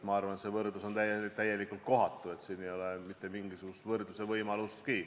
Ma arvan, et see võrdlus on täiesti kohatu, siin ei ole mitte mingisugust võrdluse võimalustki.